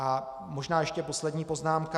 A možná ještě poslední poznámka.